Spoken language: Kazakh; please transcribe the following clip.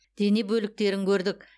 дене бөліктерін көрдік